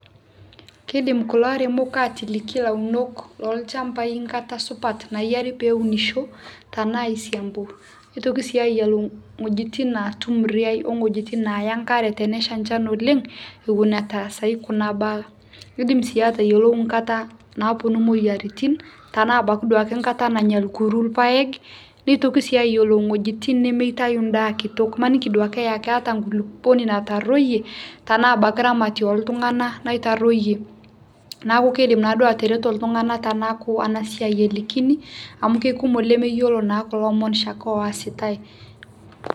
kiidim kulo aremok lolchmabai enkata supat pee eunisho tenaa aisiambu nitoki sii ayiau iwuejitin naatum riaai owuejitin naaya enkera tenesha enchan oleng' neponu etaasayu kuna baa nidim sii atayiolo nkata naaponu imoyiaritin tenaa abaiki duake nkata nanya orkuru irpaek nitoki sii ayiolou iwuejitin nemeitayu endaa kitok, imaniki duoke keeta nkulukuoni natarruoyie tenaa abaiki ramatie loltung'anak naitarruoyie naaku kiidim naaduo ataretu iltung'anak tenaaku ena siai elikini amu kekumok ilemeyiolo naa kulo omon oshiake oositai.